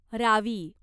Ravi